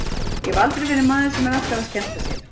Ég hef aldrei verið maður sem er alltaf að skemmta sér.